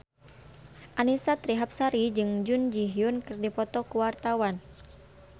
Annisa Trihapsari jeung Jun Ji Hyun keur dipoto ku wartawan